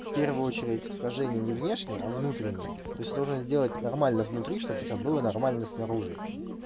в первую очередь схожение не внешне а внутренне то есть ты должен сделать нормально внутри чтобы у тебя было нормально снаружи